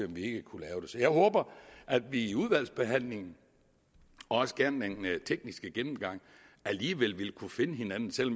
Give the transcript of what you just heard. vi ikke kunne lave så jeg håber at vi i udvalgsbehandlingen også gerne ved den tekniske gennemgang alligevel vil kunne finde hinanden selv